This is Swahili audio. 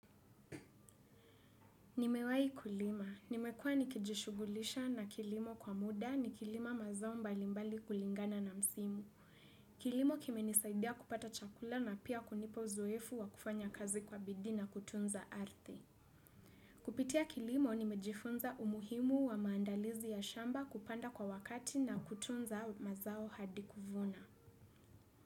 Nimewahi kulima. Nimekua nikijishugulisha na kilimo kwa muda ni kilima mazao mbali mbali kulingana na msimu. Kilimo kimenisaidia kupata chakula na pia kunipa uzoefu wa kufanya kazi kwa bidii na kutunza arthi. Kupitia kilimo nimejifunza umuhimu wa maandalizi ya shamba kupanda kwa wakati na kutunza mazao hadi kuvuna.